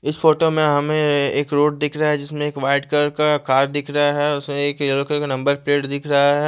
इस फोटो में हमे एक रोड दिख रहा है जिसमे एक वाईट कलर का कार दिख रहा है उसमे एक येलो कलर का नम्बर प्लेट दिख रहा है।